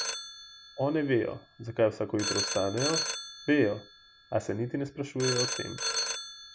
One vejo, zakaj vsako jutro vstanejo, vejo, a se niti ne sprašujejo o tem.